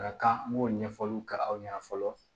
A ka kan n b'o ɲɛfɔliw kɛ aw ɲɛna fɔlɔ